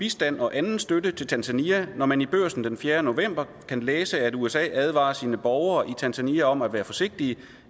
bistand og anden støtte til tanzania når man i børsen den fjerde november kan læse at usa advarer sine borgere i tanzania om at være forsigtige